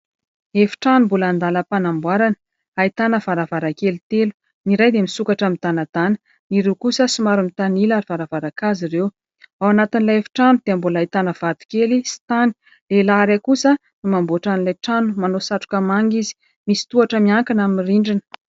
Efitrano mbola an-dalam-panamboarana, ahitana varavarankely telo. Ny iray dia misokatra midanadana, ny roa kosa somary mitanila ary varavaran-kazo ireo. Ao anatin'ilay efitrano dia mbola ahitana varavarankely sy tany. Lehilahy iray kosa no mamboatra an'ilay trano, manao satroka manga izy, misy tohatra miakatra amin'ilay rindrina.